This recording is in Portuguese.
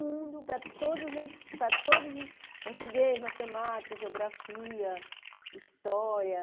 Mundo para todas as, para todos os portugueses, matemática, geografia, história.